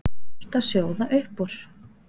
Það var allt að sjóða upp úr.